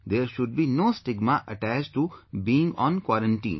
There should be no stigma attached to being on quarantine